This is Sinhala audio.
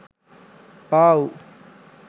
wow